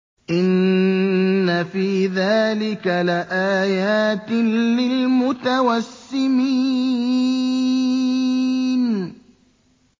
إِنَّ فِي ذَٰلِكَ لَآيَاتٍ لِّلْمُتَوَسِّمِينَ